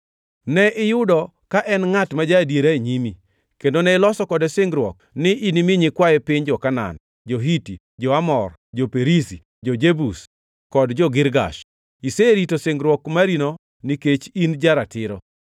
Ne iyudo ka en ngʼat ma ja-adiera e nyimi, kendo ne iloso kode singruok ni inimi nyikwaye piny jo-Kanaan, jo-Hiti, jo-Amor, jo-Perizi, jo-Jebus, kod jo-Girgash. Iserito singruok marino nikech in ja-ratiro.